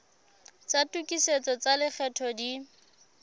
tsa tokisetso tsa lekgetho di